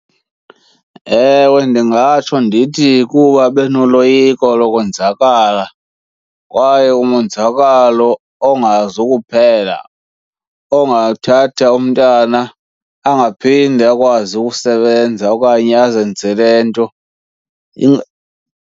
Ewe, ndingatsho ndithi kuba benoloyiko lokwenzakala kwaye umonzakalo ongazukuphela, ongathatha umntana angaphinde akwazi ukusebenza okanye azenzele nto .